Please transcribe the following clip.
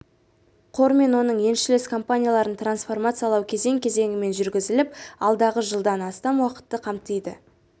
қор мен оның еншілес компанияларын трансформациялау кезең-кезеңімен жүргізіліп алдағы жылдан астам уақытты қамтиды